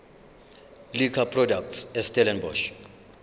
liquor products estellenbosch